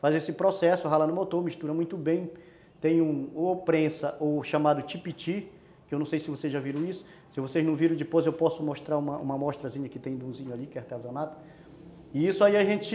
Faz esse processo, rala no motor, mistura muito bem, tem um ou prensa ou chamado tipiti, que eu não sei se vocês já viram isso, se vocês não viram depois eu posso mostrar uma uma amostrazinha que tem de unzinho ali, que é artesanato, e isso aí a gente